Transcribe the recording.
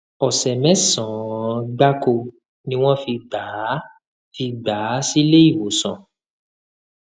ọsẹ mẹsànán gbáko ni wọn fi gbà á fi gbà á sílé ìwòsàn